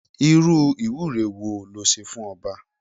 Irú ìwúre wo le ṣe fún ọba?